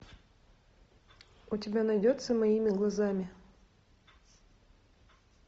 у тебя найдется моими глазами